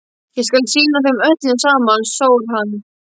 Ég skal sýna þeim öllum saman, sór hann.